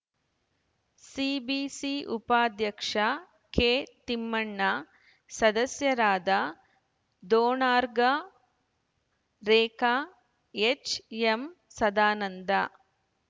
CBC ಉಪಾಧ್ಯಕ್ಷ ಕೆತಿಮ್ಮಣ್ಣ ಸದಸ್ಯರಾದ Donagar Rekha HM Sadananda